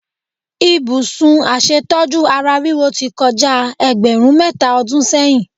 Ibùsùn aṣètójú ara ríro ti kọjá ẹgbẹ̀rún mẹ́ta ọdún sẹ́yìn.